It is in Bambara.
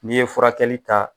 N'i ye furakɛli ta